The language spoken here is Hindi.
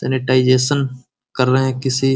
सेनीटाईजेसन कर रहे है किसी --